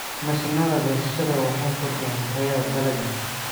Mashiinnada goosashada waxay kordhiyaan tayada dalagga.